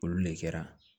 Olu de kɛra